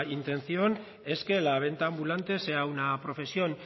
intención es que la venta ambulante sea una profesión